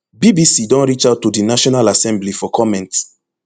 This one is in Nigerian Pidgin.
bbc don reach out to di national assembly for comment